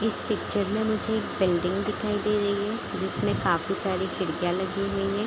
इस पिक्चर में मुझे एक बिल्डिंग दिखाई दे रही है जिसमें काफी सारी खिड़कियाँ लगी हुई है।